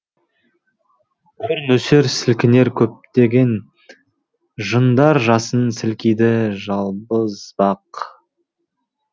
құр нөсер сілкінер көптеген жындар жасын сілкиді жалбыз бақ